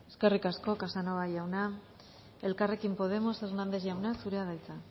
eskerrik asko casanova jauna elkarrekin podemos hernández jauna zurea da hitza